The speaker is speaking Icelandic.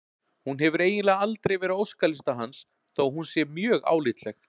Hún hefur eiginlega aldrei verið á óskalista hans þó að hún sé mjög álitleg.